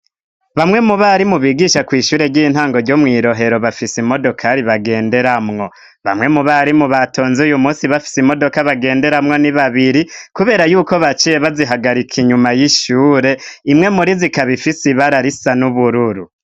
bamwe mu barimu bigisha kw'ishure ry'intango ryo mw'irohero bafise imodoka ri bagenderamwo bamwe mu bari mu batonzi uyu munsi bafise imodoka bagenderamwo n'ibabiri kubera yuko baciye bazihagarika inyuma y'ishure imwe muri zikabifise ibararisa n'ubururu